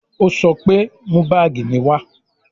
Ó sọ pé "Mú báàgì mi wá"